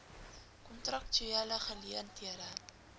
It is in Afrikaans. kontraktuele geleen thede